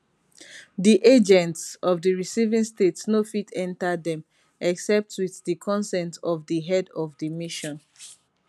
di agents of di receiving state no fit enta dem except wit di consent of di head of di mission